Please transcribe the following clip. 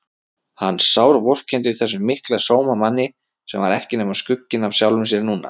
Hann sárvorkenndi þessum mikla sómamanni sem var ekki nema skugginn af sjálfum sér núna.